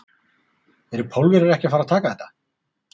Eru Pólverjar ekki að fara að taka þetta?